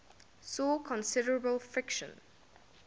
saw considerable friction